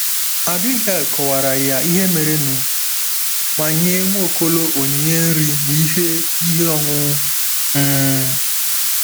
Abigail kọwaara ya ihe merenụ ma nye Nwaokolo onyinye nri na ihe ihe ọṅụṅụ. um